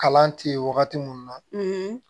Kalan tɛ ye wagati mun na